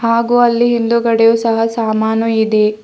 ಹಾಗು ಅಲ್ಲಿ ಹಿಂದುಗಡೆಯು ಸಹ ಸಮಾನು ಇದೆ.